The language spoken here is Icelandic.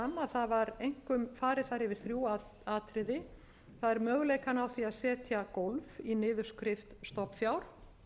það var einkum farið þar yfir þrjú atriði það er möguleikann á því að setja gólf í niðurskrift stofnfjár